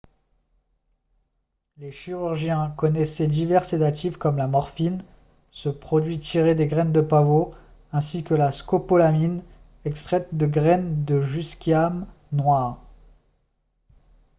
les chirurgiens connaissaient divers sédatifs comme la morphine ce produit tirée des graines de pavot ainsi que la scopolamine extraite de graines de jusquiame noire